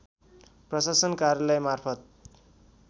प्रशासन कार्यालय मार्फत